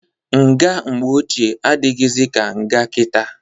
Nga mgbe ochie adịghịzị ka nga kita.